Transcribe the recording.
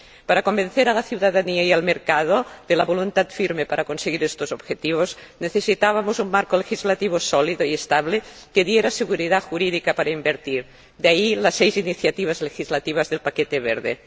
Para convencer a la ciudadanía y al mercado de la voluntad firme para conseguir estos objetivos, necesitábamos un marco legislativo sólido y estable que diera seguridad jurídica para invertir, de ahí las seis iniciativas legislativas del paquete verde.